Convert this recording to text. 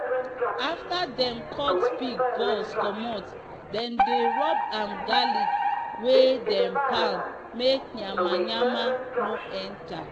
afta dem cut pig balls commot dem dey rub am garlic wey dem pound make nyama nyama no enta.